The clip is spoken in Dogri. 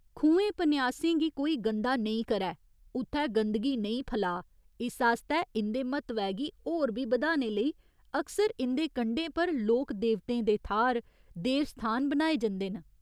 खुहें पन्यासें गी कोई गंदा नेईं करै, उत्थै गंदगी नेईं फलाऽ, इस आस्तै इं'दे म्हत्तवै गी होर बी बधाने लेई अक्सर इं'दे कंढें पर लोक देवतें दे थाह्‌र, देवस्थान बनाए जंदे न।